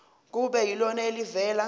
kube yilona elivela